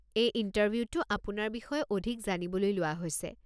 এই ইণ্টাৰভিউটো আপোনাৰ বিষয়ে অধিক জানিবলৈ লোৱা হৈছে।